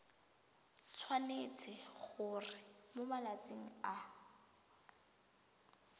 tshwanetse gore mo malatsing a